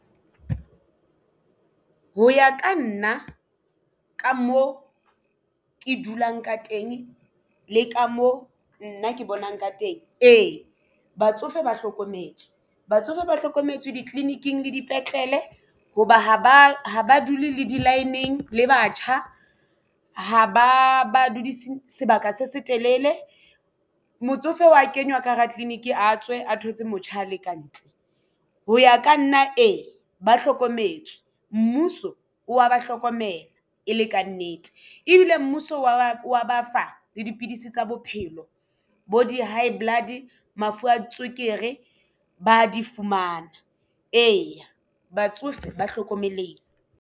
Ho ya ka nna ka mo ke dulang ka teng le ka mo nna ke bonang ka teng. Ee, batsofe ba hlokometswe batsofe ba hlokometswe di-clinic -ing le dipetlele hoba ha ba dule le di-line-ng le batjha ha ba ba dudise sebaka se setelele motsofe wa kenywa ka hara clinic a tswe a thotse motjha a le ka ntle. Ho ya ka nna e ba hlokometswe mmuso o wa ba hlokomela e le kannete ebile mmuso wa ba fa le dipidisi tsa bophelo bo di-high blood mafu a tswekere ba di fumana. Eya, batsofe ba hlokomelehile.